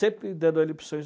Sempre dando a ele opções.